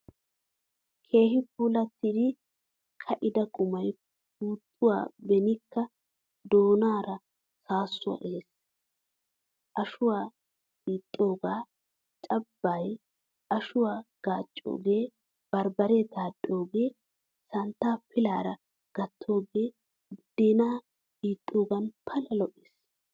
Keehin puulattidi ka'ida qumay pootuwan beinkka doonaara saasuwaa ehees. Ashuwa xiixoge, cambbay, ashuwaa gaccoge, barbare daxxooge, santta pillaara gattoge budena hixogan pala lo'ees.